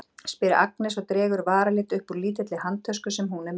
spyr Agnes og dregur varalit upp úr lítilli handtösku sem hún er með.